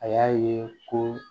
A y'a ye ko